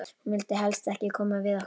Hún vildi helst ekki koma við okkur.